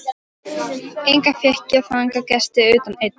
Enga fékk ég þangað gesti utan einn.